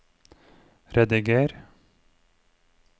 rediger